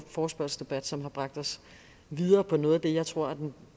forespørgselsdebat som har bragt os videre på noget af det jeg tror er